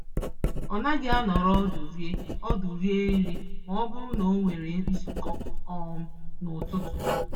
Ọ naghị anọrọ ọdụ rie ọdụ rie nri mọbụrụ n'onwere nzukọ um n'ụtụtụ